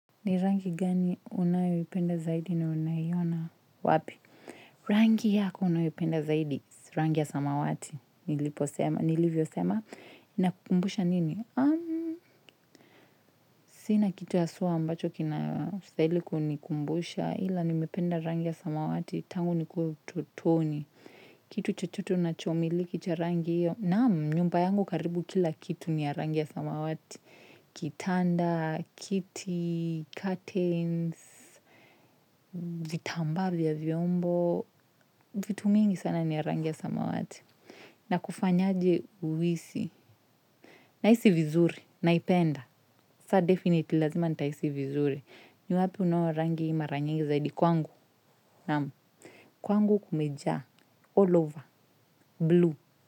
Ni rangi gani unayoipenda zaidi na unaiona wapi? Rangi yako unayoipenda zaidi, rangi ya samawati, niliposema, nilivyosema, inakumbusha nini? Sina kitu haswa ambacho kinastahili kunikumbusha, ila nimependa rangi ya samawati, tangu nikuwa ututoni. Kitu chochoto unachomiliki cha rangi iyo, naam nyumba yangu karibu kila kitu ni ya rangi ya samawati. Kitanda, kiti, curtains, vitamba vya vyombo, vitumingi sana ni ya rangi ya samawati. Nakufanyaje uhisi? Nahisi vizuri, naipenda. Sa definitely lazima nitahisi vizuri. Ninaponunua rangi hii mara nyingi zaidi kwangu. Kwangu kumeja, all over, blue.